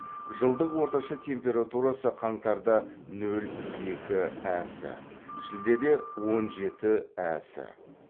жылдық орташа температурасы қаңтарда нөл екі әс шілдеде он жеті әс